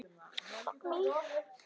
Dóri, Siddi og Geir.